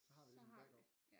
Så har vi det som backup